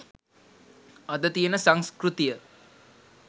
අද තියෙන සංස්කෘතිය.